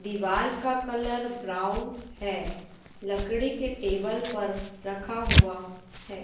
दीवाल का colour brown है लकड़ी के टेबल पर रखा हुआ है।